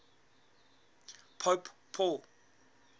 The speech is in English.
pope paul